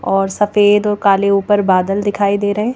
और सफेद और काले ऊपर बादल दिखाई दे रहे हैं।